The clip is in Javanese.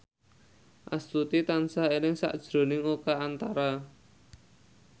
Astuti tansah eling sakjroning Oka Antara